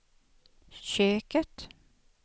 köket